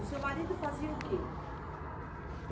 O seu marido fazia o quê?